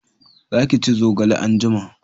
Za ki ci zogale anjima!